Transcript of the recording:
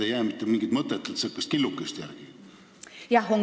Ei ole ju mitte mingit mõtet, et killuke järele jääb.